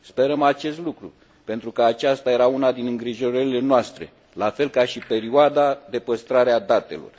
Sperăm acest lucru, pentru că aceasta era una dintre îngrijorările noastre, la fel ca și perioada de păstrare a datelor.